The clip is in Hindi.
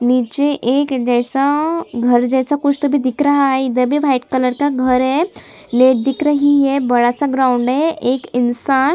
निचे एक जैसा घर जैसा कुछ तो अभी दिख रहा है इधर भी वाइट कलर का घर है लोग दिख रहे है बड़ा-सा ग्राउंड है एक इंसान--